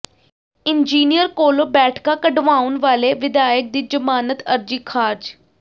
engineer ਕੋਲੋਂ ਬੈਠਕਾਂ ਕਢਵਾਉਣ ਵਾਲੇ ਵਿਧਾਇਕ ਦੀ ਜ਼ਮਾਨਤ ਅਰਜ਼ੀ ਖ਼ਾਰਜ